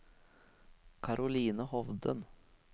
Caroline Hovden